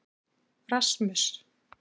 Rasmus